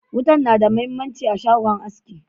Wutan na da mahimmanci a shagon aski.